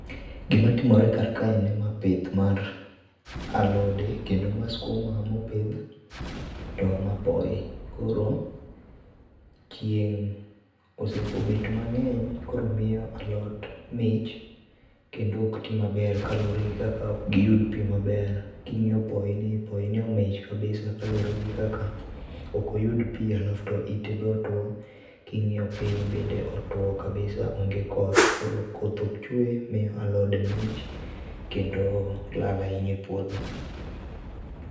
Gima timore kar kae ni ma pith mar alode kendo ma skuma mopidh to ma poi. Koro, chieng' osego bet mangeny koro miyo alot mich kendo ok tii maber kaluore gi kaka ok giyud pii maber. Kingiyo poi ni poi ni omich kabisa kaluore gi kaka ok oyud pii alafu to ite be otuo ,kingiyo piny bende otuo kabisa onge koth koro koth ok chwe miyo alode mich kendo lal ahinya e puodho